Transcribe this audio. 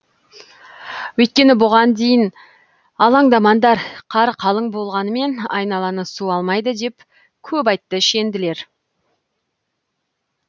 өйткені бұған дейін алаңдамаңдар қар қалың болғанмен айналаны су алмайды деп көп айтты шенділер